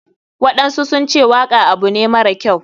Waɗansu sunce waka abu ne mara kyau.